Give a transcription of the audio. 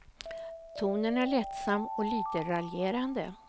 Tonen är lättsam och lite raljerande.